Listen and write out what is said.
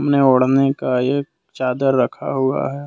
ने ओढ़ने का एक चादर रखा हुआ है।